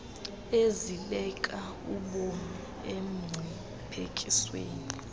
ezibeka ubomi emngciphekweni